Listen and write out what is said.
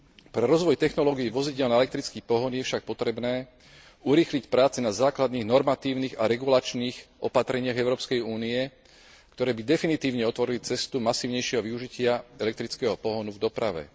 Pre rozvoj technológií vozidiel na elektrický pohon je však potrebné urýchliť práce na základných normatívnych a regulačných opatreniach Európskej únie, ktoré by definitívne otvorili cestu masívnejšieho využitia elektrického pohonu v doprave.